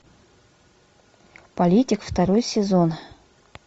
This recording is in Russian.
политик второй сезон